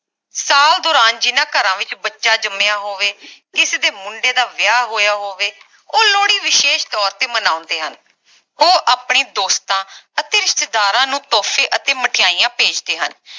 ਸਾਲ ਦੌਰਾਨ ਜਿੰਨਾ ਘਰਾਂ ਵਿਚ ਬੱਚਾ ਜੰਮਿਆ ਹੋਵੇ ਕਿਸੇ ਦੇ ਮੁੰਡੇ ਦਾ ਵਿਆਹ ਹੋਇਆ ਹੋਵੇ ਉਹ ਲੋਹੜੀ ਵਿਸ਼ੇਸ਼ ਤੋਰ ਤੇ ਮਨਾਉਂਦੇ ਹਨ ਉਹ ਆਪਣੇ ਦੋਸਤਾਂ ਅਤੇ ਰਿਸ਼ਤੇਦਾਰਾਂ ਨੂੰ ਤੋਹਫੇ ਅਤੇ ਮਠਿਆਈਆਂ ਭੇਜਦੇ ਹਨ